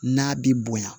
N'a bi bonya